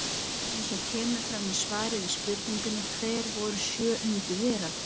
Eins og kemur fram í svari við spurningunni Hver voru sjö undur veraldar?